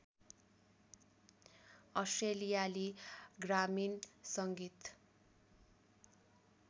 अस्ट्रेलियाली ग्रामीण सङ्गीत